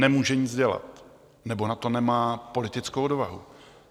Nemůže nic dělat nebo na to nemá politickou odvahu.